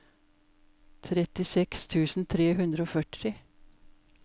trettiseks tusen tre hundre og førti